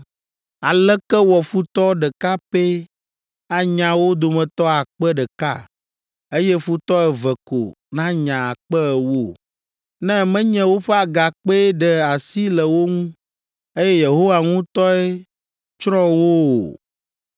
Aleke wɔ futɔ ɖeka pɛ anya wo dometɔ akpe ɖeka eye futɔ eve ko nanya akpe ewo? Ne menye woƒe Agakpee ɖe asi le wo ŋu, eye Yehowa ŋutɔe tsrɔ̃ wo o?